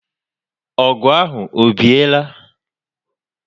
O gu ahụ o biela?